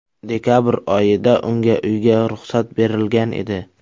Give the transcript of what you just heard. Dekabr oyida unga uyga ruxsat berilgan edi.